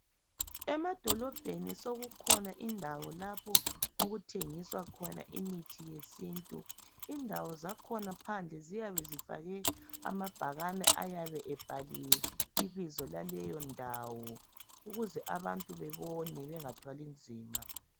Emadolibheni sekukhona indawo lapho okuthengiswa khona imithi yesintu indawo zakhona phandle ziyabe zifake amabhakani ayabe ebhaliwe ibizo laleyo ndawo ukuze abantu babone bengathwali nzima